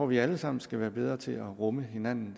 vi alle sammen skal være bedre til at rumme hinanden